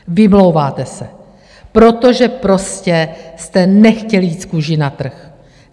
Vymlouváte se, protože prostě jste nechtěli jít s kůží na trh.